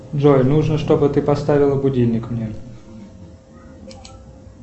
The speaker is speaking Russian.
джой нужно чтобы ты поставила будильник мне